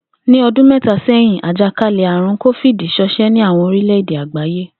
Ní o̩dún mé̩ta sé̩yin, àjàkálè̩-àrùn Kófíìdì s̩o̩s̩é̩ ní àwo̩n oríle̩ èdè àgbáyé